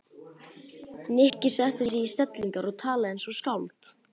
Nikki setti sig í stellingar og talaði eins og skáld.